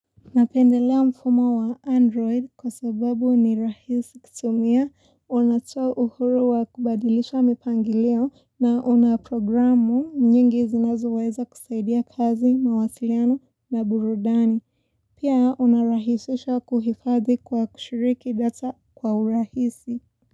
Napendelea mfumo wa Android kwa sababu ni rahisi kutumia, unatoa uhuru wa kubadilisha mipangilio na unaprogramu nyingi zinazoweza kusaidia kazi, mawasiliano na burudani. Pia unarahisisha kuhifadhi kwa kushiriki data kwa urahisi.